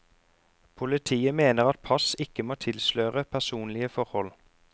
Politiet mener at pass ikke må tilsløre personlige forhold.